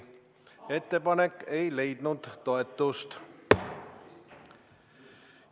Ettepanek ei leidnud toetust.